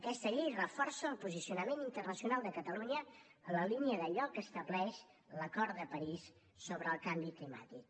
aquesta llei reforça el posicionament internacional de catalunya en la línia d’allò que estableix l’acord de parís sobre el canvi climàtic